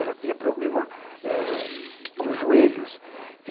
Ela tinha problema ãh nos joelhos.